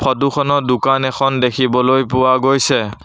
Photo খনত দোকান এখন দেখিবলৈ পোৱা গৈছে।